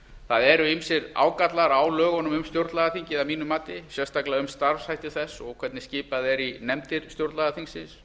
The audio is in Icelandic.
það eru ýmsir ágallar á lögunum um stjórnlagaþingið að mínu mati sérstaklega um starfshætti þess og hvernig skipað er í nefndir stjórnlagaþingsins